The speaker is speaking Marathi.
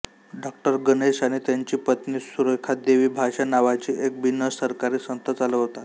डॉ गणेश आणि त्यांची पत्नी सुरेखादेवी भाषा नावाची एक बिनसरकारी संस्था चालवतात